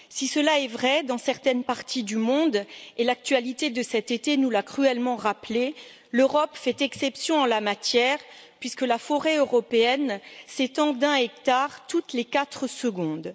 Si cela est vrai dans certaines parties du monde et l'actualité de cet été nous l'a cruellement rappelé l'Europe fait exception en la matière, puisque la forêt européenne s'étend d'un hectare toutes les quatre secondes.